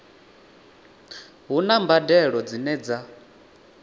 hu na mbadelo dzine dza